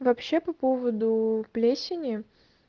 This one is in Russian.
вообще по поводу плесени